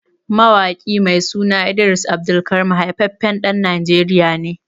Mawaƙi mai suna Idris AbdulKareem haifaffen ɗan najeriya ne